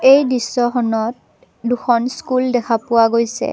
এই দৃশ্যখনত দুখন স্কুল দেখা পোৱা গৈছে।